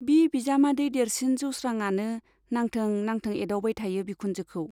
बि बिजामादै देरसिन जौस्रांआनो नांथों नांथों एदावबाय थायो बिखुनजोखौ।